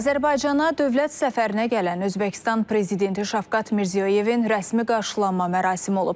Azərbaycana dövlət səfərinə gələn Özbəkistan prezidenti Şavkat Mirziyoyevin rəsmi qarşılanma mərasimi olub.